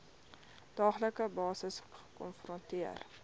daaglikse basis gekonfronteer